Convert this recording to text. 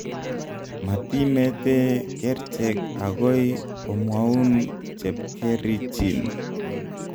Matimetee kerchek agoi komwaun chepkerichiin